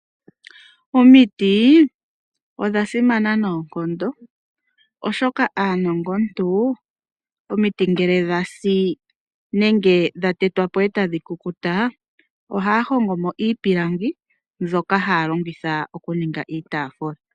Omiti odha simana noonkondo oshoka aanongontu omiti ngele dha si nenge dha tetwa po eta dhi kukuta, ohaa hongo mo iipilangi mbyoka haya longitha okuninga iitaafula.